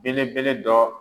Belebele dɔ.